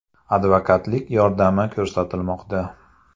Advokatlik yordami ko‘rsatilmoqda.